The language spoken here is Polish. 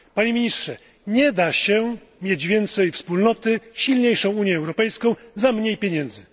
Panie Ministrze, nie da się mieć więcej wspólnoty, silniejszej Unii Europejskiej za mniej pieniędzy.